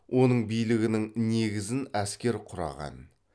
оның билігінің негізін әскер құраған